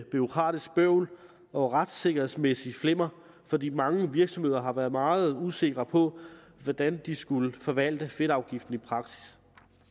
bureaukratisk bøvl og retssikkerhedsmæssigt flimmer fordi mange virksomheder har været meget usikre på hvordan de skulle forvalte fedtafgiften i praksis